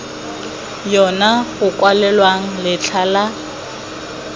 yona go kwalwang letlha la